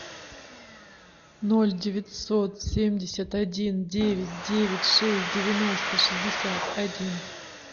ноль девятьсот семьдесят один девять девять шесть девяносто шестьдесят один